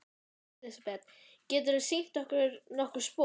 Elísabet: Geturðu sýnt okkur nokkur spor?